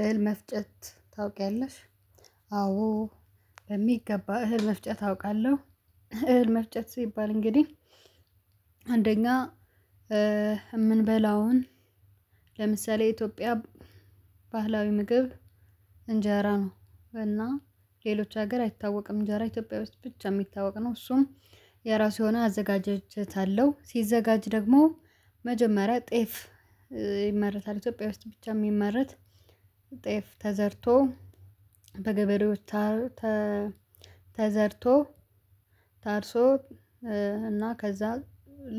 እህል መፍጨት ታውቂያለሽ? አዎ በሚገባ እህል መፍጨት አውቃለሁ እህል መፍጨት ሲባል እንግዲህ አንደኛ የምንበላውን ለምሳሌ የኢትዮጵያ ባህላዊ ምግብ እንጀራ ነው። እና ሌሎች ሀገር አይታወቅም እጀራ ኢትዮጵያ ውስጥ ብቻ የሚታወቅ ነው እሱም የራሱ የሆነ አዘጋጀጀት አለው ሲዘጋጅ ደግሞ መጀመሪያ ጤፍ ይመረታል ኢትዮጵያ ውስጥ ብቻ የሚመረት ጤፍ ተዘርቶ በገበሬዎች ተዘርቶ ታርሶ እና ከዛ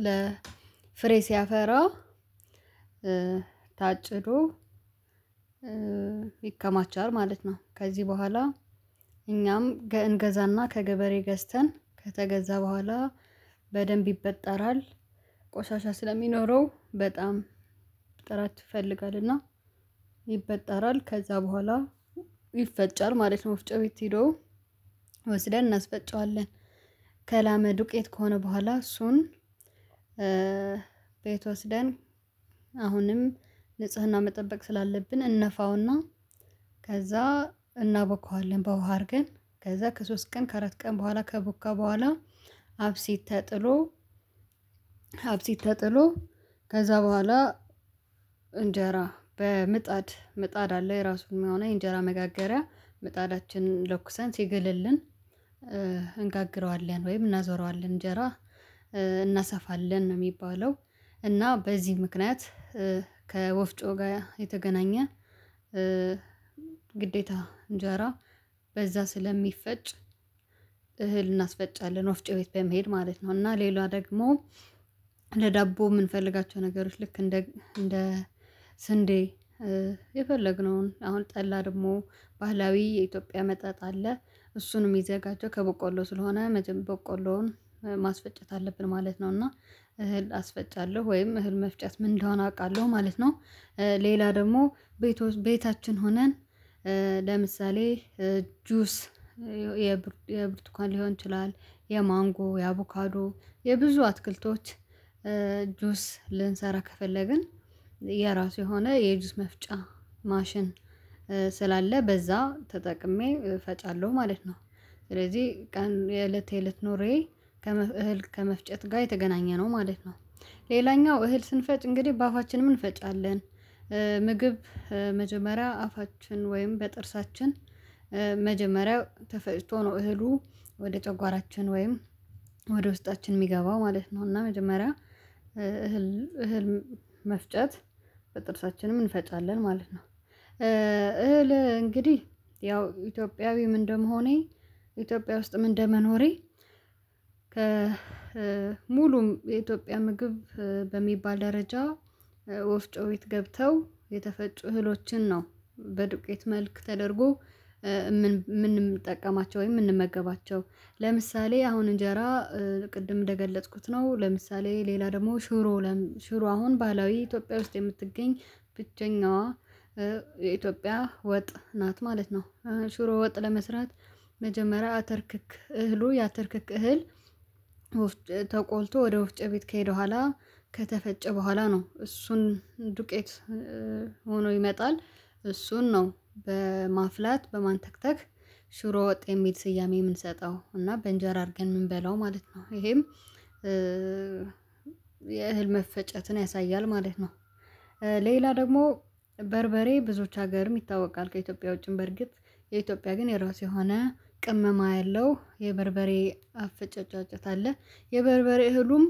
ለፍሬ ሲያፈራ ታጭዶ ይከማቻል ማለት ነው። ከዚህ በኋላ እኛም ገ እንገዛና ከገበሬ ገዝተን ከተገዛ በኋላ በደንብ ይበጠራል ቆሻሻ ስለሚኖረው በጣም ጥራት ይፈልጋልና። ይበጠራል ከዛ በኋላ ይፈጫል ማለት ወፍጮ ቤት ሄዶ ወስደን እናስፈጨዋለን። ከላመ ዱቄት ከሆነ በኋላ እሱን ቤት ወስደን አሁንም ንጽህና መጠበቅ ስላለብን እንፋውና ከዛ እናቦከዋለን በውሃ አድርገን ከዛ ከሶስት ቀን ከአራት ቀን በኋላ ከቦካ በኋላ አብሴት ተጥሎ አብሴትተጥሎ ከዛ በኋላ እንጀራ በምጣድ ምጣድ አለ የራሱን መሆኑ የእንጀራ መጋገሪያ መጣዳችንን ለኩሰን ሲገልልን እንጋግረዋለን ወይም እናዞራዋለን እንጀራ እናሰፋለን ነው። የሚባለው እና በዚህ ምክንያት ከወፍጮ ጋር የተገናኘ ግዴታ እንጀራ በዛ ስለሚፈጭ እህል እናስፈጫለን ወፍጮ ቤት በመሄድ ማለት ነው። እና ሌላ ደግሞ ለዳቦ የምንፈልጋቸው ነገሮች ልክ እንደ እንደ ስንዴ የፈለግነውን አሁን ጠላ ደግሞ ባህላዊ የኢትዮጵያ መጠጥ አለ እሱንም ይዘጋቸው ከቦቆሎ ስለሆነ መጀመሪያ ቦቆሎውን ማስፈጨት አለብን ማለት ነው። እና እህል አስፈጫለሁ ወይም እህል መፍጨት ምን እንደሆነ አውቃለሁ ማለት ነው። ሌላ ደግሞ ቤት ቤታችን ሆነን ለምሳሌ ጁስ የብርቱካን ሊሆን ይችላል የማንጎ የአቮካዶ የብዙ አትክልቶች ጁስ ልንሰራ ከፈለግን የራሱ የሆነ የጁስ መፍጫ ማሽን ስላለ በዛ ተጠቅሜ እፈጫለሁ ማለት ነው። ስለዚህ ቀን የእለቴ እለት ኖሬ ከእህል ከመፍጨት ጋር የተገናኘ ነው ማለት ነው። ሌላኛው እህል ስንፈጭ እንግዲህ በአፋችን ምን እንፈጫለን ምግብ መጀመሪያ አፋችን ወይም በጥርሳችን መጀመሪያ ተፈጭቶ ነው እህሉ ወደ ጨጓራችን ወይም ወደ ውስጣችን የሚገባው ማለት ነው እና መጀመሪያ እህል እህል መፍጨት በጥርሳችንም እንፈጫለን ማለት ነው። እህል እንግዲህ ያው ኢትዮጵያዊም እንደመሆኔ ኢትዮጵያ ውስጥም እንደመኖሬ ከ ከሙሉም የኢትዮጵያ ምግብ በሚባል ደረጃ ወፍጮ ቤት ገብተው የተፈጩ እህሎችን ነው በዱቄት መልክ ተደርጎ የምንጠቀማቸው ወይም የምንመገባቸው ለምሳሌ አሁን እንጀራ ቅድም እንደገለጽኩት ነው ለምሳሌ ሌላ ደግሞ ሽሮ ሽሮ አሁን ባህላዊ ኢትዮጵያ ውስጥ የምትገኝ ብቸኛዋ የኢትዮጵያ ወጥ ናት ማለት ነው። ሽሮ ወጥ ለመስራት መጀመሪያ አተር ክክ እህሉ ያተር ክክ እህል ተቆልቶ ወደ ወፍጨ ቤት ከሄደ በኋላ ከተፈጨ በኋላ ነው እሱን ዱቄት ሆኖ ይመጣል እሱን ነው በማፍላት በማንተክተክ ሽሮ ወጥ የሚል ስያሜ የምንሰጠው እና በእንጀራ አድርገን የምንበላው ማለት ነው ይሄም የእህል መፈጨትን ያሳያል ማለት ነው። ሌላ ደግሞ በርበሬ ብዙዎች ሀገርም ይታወቃል ከኢትዮጵያ ውጪም በርግጥ የኢትዮጵያ ግን የራሱ የሆነ ቅመማ ያለው የበርበሬ አፈጫጫጨት አለ የበርበሬ እህሉም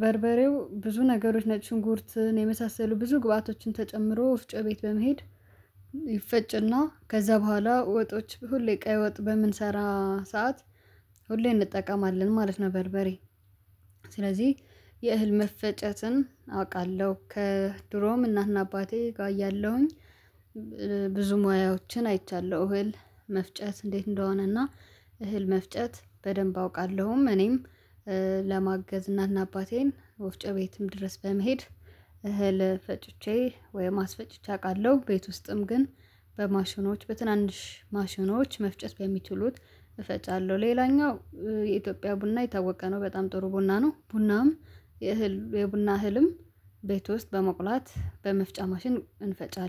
በርበሬው ብዙ ነገሮች ነጭ ሽንኩርትን የመሳሰሉ ብዙ ግብአቶችን ተጨምሮ ወፍጮ ቤት በመሄድ ይፈጭና ከዛ በኋላ ወጦች ሁሌ ቀይ ወጥ በምንሰራ ሰዓት ሁሌ እንጠቀማለን ማለት ነው። በርበሬ ስለዚህ የእህል መፈጨትን አውቃለሁ ከድሮም እናትና አባቴ ጋር እያለሁኝ ብዙ ሙያዎችን አይቻለሁ እህል መፍጨት እንዴት እንደሆነና እህል መፍጨት በደንብ አውቃለሁም እኔም ለማገዝ እናትና አባቴን ወፍጨህ ቤትም ድረስ በመሄድ እህል ፈጭቼ ወይም አስፈጭቼ አውቃለሁ። ቤት ውስጥም ግን በማሽኖች በትንንሽ ማሽኖች መፍጨስ በሚችሉት እፈጫለሁ ሌላኛው የኢትዮጵያ ቡና የታወቀ ነው በጣም ጥሩ ቡና ነው ቡናም የእህል የቡና እህልም ቤት ውስጥ በመቁላት በመጫ ማሽን እንፈጫለን